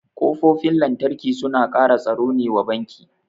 Kofofin lantarki suna kara tsaro ne wa banki